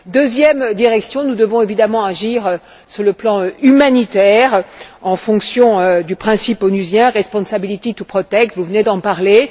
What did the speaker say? Deuxième direction nous devons évidemment agir sur le plan humanitaire, en application du principe onusien de la responsabilité de protéger vous venez d'en parler.